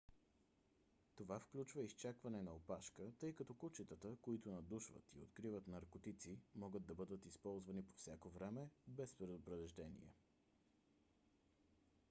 това включва изчакване на опашка тъй като кучетата които надушват и откриват наркотици могат да бъдат използвани по всяко време без предупреждение